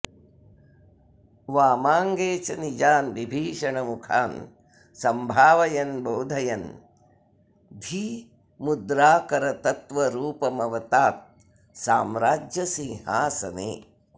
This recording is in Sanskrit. वामाङ्गे च निजान् विभीषणमुखान् सम्भावयन् बोधयन् धीमुद्राकरतत्त्वरूपमवतात् साम्राज्यसिंहासने